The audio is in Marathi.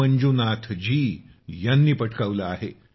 मंजुनाथजी यांनी पटकावले आहे